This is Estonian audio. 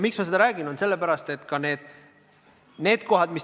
Miks ma seda räägin?